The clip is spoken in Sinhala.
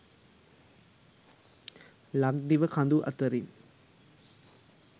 ලක්දිව කඳු අතරින්